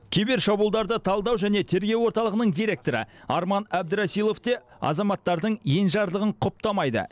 кибер шабуылдарды талдау және тергеу орталығының директоры арман әбдірасилов те азаматтардың енжарлығын құптамайды